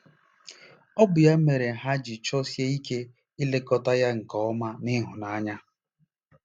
Ọ bụ ya mere ha ji chọsie ike ilekọta ya nke ọma na ịhụnanya.